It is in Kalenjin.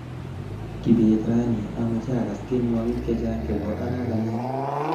Kibet raini amache akass tienwokik chechang chebo arakentet